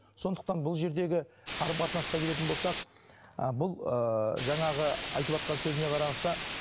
сондықтан бұл жердегі қарым қатынасқа келетін болсақ ы бұл ыыы жаңағы айтыватқан сөзіне қараса